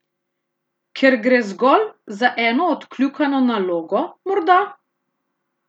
Ker gre zgolj za eno odkljukano nalogo, morda?